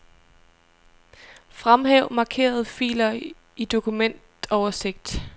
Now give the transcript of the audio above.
Fremhæv markerede filer i dokumentoversigt.